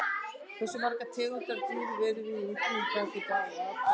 Hversu margar tegundir af dýrum eru í útrýmingarhættu í dag og af hverju?